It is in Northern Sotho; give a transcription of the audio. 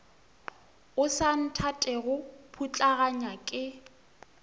o sa nthatego putlaganya ke